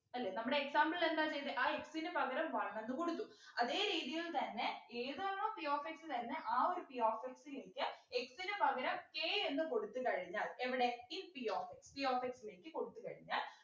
അല്ലെ നമ്മുടെ example ൽ എന്താ ചെയ്തേ ആ x നു പകരം one എന്ന് കൊടുത്തു അതെ രീതിയിൽ തന്നെ ഏതാണോ p of x തന്നെ ആ ഒര p of x ലേക്ക് x നു പകരം k എന്ന് കൊടുത്തു കഴിഞ്ഞാൽ എവിടെ if p of x p of x ലേക്ക് കൊടുത്ത് കഴിഞ്ഞാൽ